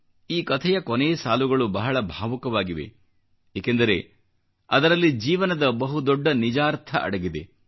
ಈ ಕಥೆಯ ಕೊನೇ ಸಾಲುಗಳು ಬಹಳ ಭಾವುಕವಾಗಿವೆ ಏಕೆಂದರೆ ಅದರಲ್ಲಿ ಜೀವನದ ಬಹು ದೊಡ್ಡ ನಿಜಾರ್ಥ ಅಡಗಿದೆ